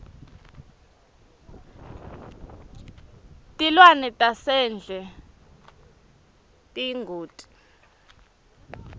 tilwane tasendle tiyingoti